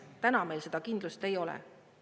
Täna meil seda kindlust ei ole.